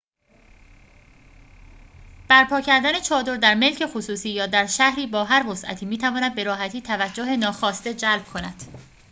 برپا کردن چادر در ملک خصوصی یا در شهری با هر وسعتی می‌تواند به‌راحتی توجه ناخواسته جلب کند